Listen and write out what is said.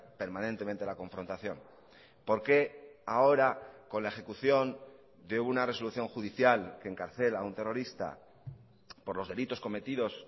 permanentemente la confrontación por qué ahora con la ejecución de una resolución judicial que encarcela a un terrorista por los delitos cometidos